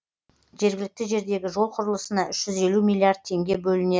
жергілікті жердегі жол құрылысына үш жүз елу миллиард теңге бөлінеді